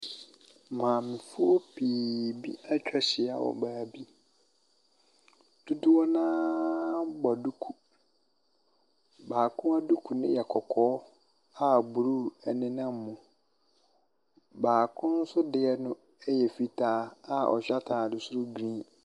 Maamefo pii bi etwa ahyia wɔ baabi. Dodoɔ naa bɔ duku. Baako duku no yɛ kɔkɔɔ a blu ɛnenam mu. Baako nso deɛ no ɛyɛ fitaa a ɔhyɛ ataade soro grin.